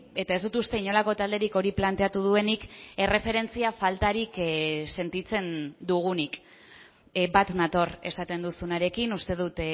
eta ez dut uste inolako talderik hori planteatu duenik erreferentzia faltarik sentitzen dugunik bat nator esaten duzunarekin uste dut